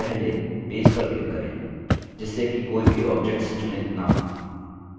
पहले पेज पर click करें जिससे कि कोई भी objects चुनित न हों